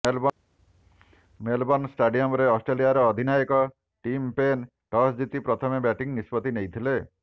Melbourne ଷ୍ଟାଡିୟମରେ ଅଷ୍ଟ୍ରେଲିଆର ଅଧିନାୟକ ଟିମ ପେନ୍ ଟସ୍ ଜିତି ପ୍ରଥମେ ବ୍ୟାଟିଂ ନିଷ୍ପତ୍ତି ନେଇଥିଲେ